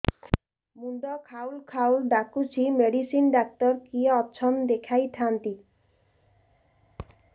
ମୁଣ୍ଡ ଖାଉଲ୍ ଖାଉଲ୍ ଡାକୁଚି ମେଡିସିନ ଡାକ୍ତର କିଏ ଅଛନ୍ ଦେଖେଇ ଥାନ୍ତି